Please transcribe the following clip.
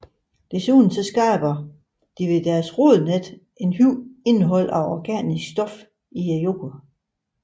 Desuden skaber de ved deres rodnet et højt indhold af organisk stof i jorden